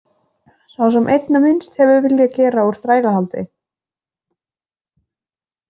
Sá sem einna minnst hefur viljað gera úr þrælahaldi.